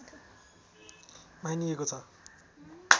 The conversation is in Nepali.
मानिएको छ